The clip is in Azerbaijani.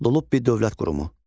Lullubi dövlət qurumu.